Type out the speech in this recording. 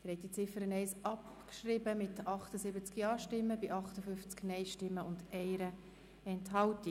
Sie haben die Ziffer 1 abgeschrieben mit 78 Ja- zu 58 Nein-Stimmen bei 1 Enthaltung.